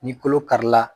Ni kolo karila